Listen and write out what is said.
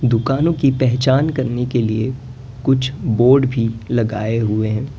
दुकानों की पहचान करने के लिए कुछ बोर्ड भी लगाए हुए हैं।